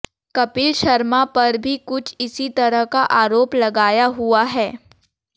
कपिल शर्मा पर भी कुछ इसी तरह का आरोप लगाया हुआ है